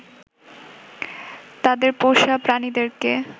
তাদের পোষা প্রাণীদেরকে